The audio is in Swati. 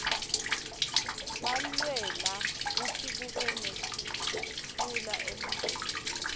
walwela kutsi kube nektfula eliveni